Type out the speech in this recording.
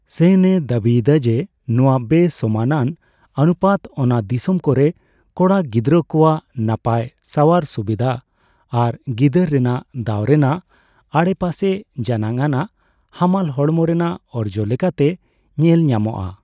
ᱥᱮᱱ ᱮ ᱫᱟᱹᱵᱤᱭᱮᱫᱟ ᱡᱮ ᱱᱚᱣᱟ ᱵᱮᱼᱥᱚᱢᱟᱱᱟᱱ ᱚᱱᱩᱯᱟᱛ ᱚᱱᱟ ᱫᱤᱥᱚᱢ ᱠᱚᱨᱮ ᱠᱚᱲᱟ ᱜᱤᱫᱽᱨᱟᱹ ᱠᱚᱣᱟᱜ ᱱᱟᱯᱟᱭ ᱥᱟᱣᱟᱨ ᱥᱩᱵᱤᱫᱟ ᱟᱨ ᱜᱤᱫᱟᱹᱨ ᱨᱮᱱᱟᱜ ᱫᱟᱣ ᱨᱮᱱᱟᱜ ᱟᱰᱮᱯᱟᱥᱮ ᱡᱟᱱᱟᱝ ᱟᱱᱟᱜ ᱦᱟᱢᱟᱞ ᱦᱚᱲᱢᱚ ᱨᱮᱱᱟᱜ ᱚᱨᱡᱚ ᱞᱮᱠᱟᱛᱮ ᱧᱮᱞ ᱧᱟᱢᱚᱜᱼᱟ ᱾